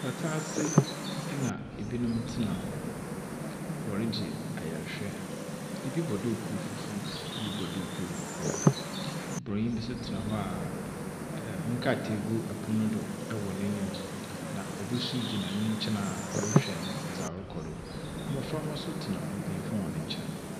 Pata ase na binom tsena. Wɔregye ayarhwɛ. Bi bɔ duukuu fufuw, bi bɔ duukuu kɔkɔɔ. Borɔnyi bi so tsena hɔ a nkrataa gu pon do wɔ n'enyim, na obi gyina nkyɛn a ɔrehwɛ dza ɔrekɔ do. Mboframba so tsena mpanyimfo hɔn nkyɛn.